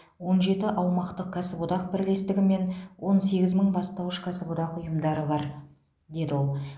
он жеті аумақтық кәсіподақ бірлестігі мен он сегіз мың бастауыш кәсіподақ ұйымдары бар деді ол